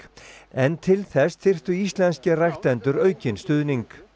en til þess þyrftu íslenskir ræktendur aukinn stuðning